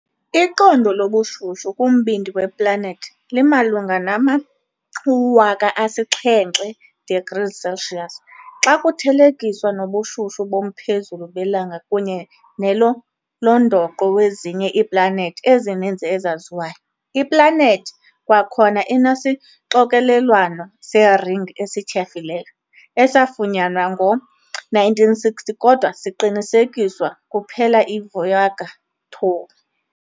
Iqondo lobushushu kumbindi weplanethi limalunga nama-7000 degrees Celsius, xa kuthelekiswa nobushushu bomphezulu beLanga kunye nelo londoqo wezinye iiplanethi ezininzi ezaziwayo. Iplanethi kwakhona inesixokelelwano seringi esityhafileyo, esafunyanwa ngoo-1960 kodwa siqinisekiswa kuphela yiVoyager 2.